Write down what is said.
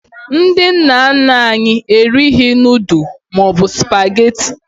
Ndị nna nna anyị erighi nudu maọbụ spagetị